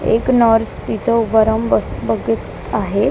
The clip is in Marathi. एक नर्स तिथं उभं राहून बस बघत आहे.